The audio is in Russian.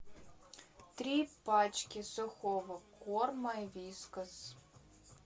три пачки сухого корма вискас